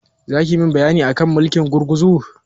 Zaki min bayani akan mulkin gurguzu?